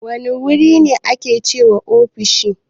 Wane wuri ne ake wa ofishi?